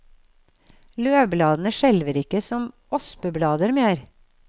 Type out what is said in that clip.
Løvbladene skjelver ikke som ospeblader mer.